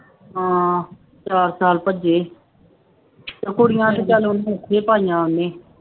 ਹਾਂ ਚਾਰ ਸਾਲ ਭੱਜੇ ਕੁੜੀਆਂ ਤਾਂ ਚੱਲ ਉਹਨੇ ਉੱਥੇ ਪਾਈਆਂ ਉਹਨੇ